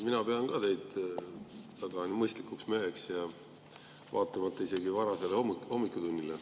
Mina pean ka teid väga mõistlikuks meheks, vaatamata isegi varasele hommikutunnile.